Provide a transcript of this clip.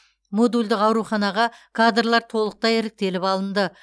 модульдік ауруханаға кадрлар толықтай іріктеліп алынды